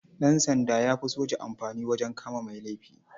Ɗansanda ya fi soja amfani wajen kama mai laifi.